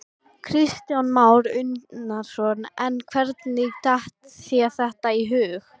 Kristján Már Unnarsson: En hvernig datt þér þetta í hug?